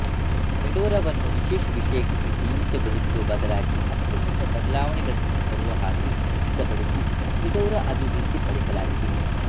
ಫೆಡೋರಾವನ್ನು ವಿಶೇಷ ವಿಷಯಕ್ಕೆ ಸೀಮಿತಗೊಳಿಸುವ ಬದಲಾಗಿ ಅತ್ಯುನ್ನತ ಬದಲಾವಣೆಗಳನ್ನು ತರುವ ಹಾಗೆ ಸಿದ್ಧಪಡಿಸಿ ಫೆಡೋರಾ ಅಭಿವೃದ್ಧಿ ಪಡಿಸಲಾಗಿದೆ